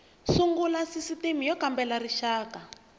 sungula sisitimi y kambela rixaka